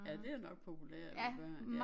Ja det er nok populært med børn ja